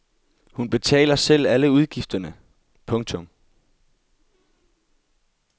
Hun betaler selv alle udgifterne. punktum